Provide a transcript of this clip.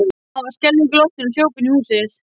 Hann varð skelfingu lostinn og hljóp inn í húsið.